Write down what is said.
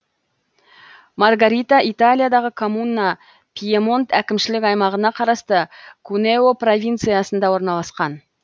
маргарита италиядағы коммуна пьемонт әкімшілік аймағына қарасты кунео провинциясында орналасқан